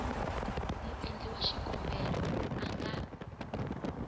muendli wa xikombelo a nga